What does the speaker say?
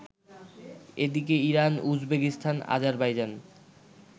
এদিকে Iran, Uzbekistan, Azerbaijan